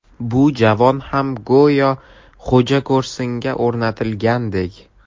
Bu javon ham go‘yo xo‘jako‘rsinga o‘rnatilgandek.